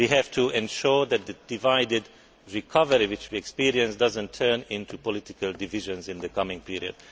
Europe. We have to ensure that the divided recovery which we are experiencing does not turn into political divisions in the coming period.